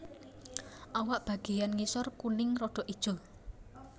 Awak bagiyan ngisor kuning rodok ijo